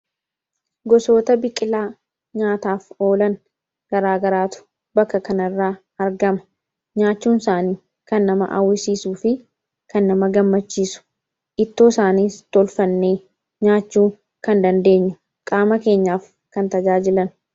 Gosoota biqilaa nyaataaf oolan garaa garaatu fakkii kana irraa argama. Isaan nyaachuunis kan nama hawwisiisuu fi kan nama gammachiisudha. Ittoo isaaniis tolfannee nyaachuu kan dandeenyuu fi qaama keenyaaf kan tajaajilanidha.